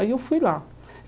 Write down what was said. Aí eu fui lá.